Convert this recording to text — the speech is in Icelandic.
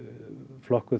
flokkuð